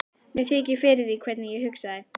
Mér þykir fyrir því hvernig ég hugsaði.